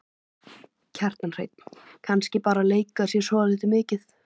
Kjartan Hreinn: Kannski bara leika þér svolítið mikið?